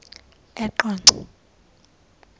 eqonco